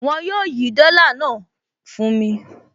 Wọn yóò yí dọ́là náà fún mi